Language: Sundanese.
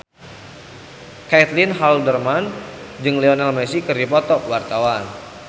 Caitlin Halderman jeung Lionel Messi keur dipoto ku wartawan